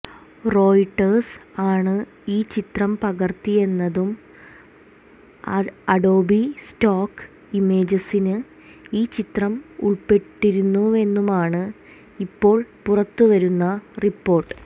Reuters ആണ് ഈ ചിത്രം പകര്ത്തിയതെന്നും അഡോബി സ്റ്റോക്ക് ഇമേജസില് ഈ ചിത്രം ഉൾപ്പെട്ടിരുന്നുവെന്നുമാണ് ഇപ്പോൾ പുറത്തുവരുന്ന റിപ്പോർട്ട്